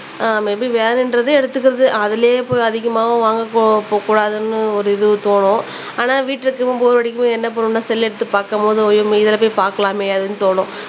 ஆஹ் maybe வேணுன்றது எடுத்துக்குறது அதுலயே போய் அதிகமாவும் வாங்கக் கு கு கூடாதுனு ஒரு இது தோணும் ஆனா வீட்டுல இருக்கும்போது போர் அடிக்கும்போது என்ன பன்னுவோம்னா செல் எடுத்து பாக்கும்போது நம்ம இதுல போய் பாக்கலாமே அப்படினு தோணும்